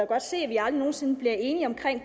godt se at vi aldrig nogen sinde bliver enige om